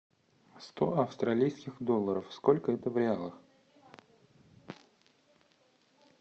сто австралийских долларов сколько это в реалах